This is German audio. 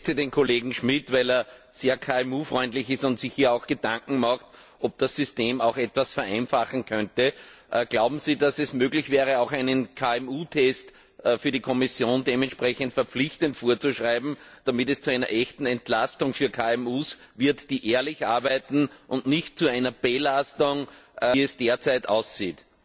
Ich schätze den Kollegen Schmidt, weil er sehr KMU freundlich ist und sich hier auch Gedanken macht, ob das System auch etwas vereinfachen könnte. Glauben Sie, dass es möglich wäre, auch einen KMU Test für die Kommission dementsprechend verpflichtend vorzuschreiben, damit es zu einer echten Entlastung für KMUs wird, die ehrlich arbeiten, und nicht zu einer Belastung, wie es derzeit aussieht?